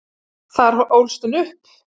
Þar ólst hún upp.